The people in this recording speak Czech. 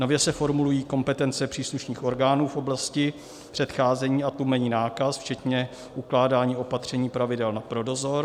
Nově se formulují kompetence příslušných orgánů v oblasti předcházení a tlumení nákaz včetně ukládání opatření pravidel pro dozor.